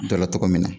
Dɔ la tɔgɔ min na